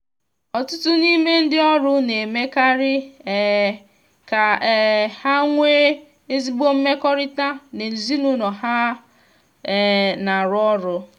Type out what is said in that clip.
ọtụtụ n’ime ndị ọrụ na-emekarị um ka um ha nwee ezigbo mmekọrịta na ezinụlọ ha um na-arụ ọrụ.